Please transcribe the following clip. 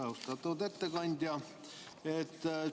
Austatud ettekandja!